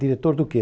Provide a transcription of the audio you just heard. Diretor do quê?